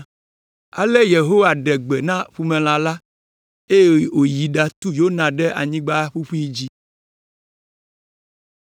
Ale Yehowa ɖe gbe na ƒumelã la, eye wòyi ɖatu Yona ɖe anyigba ƒuƒui dzi.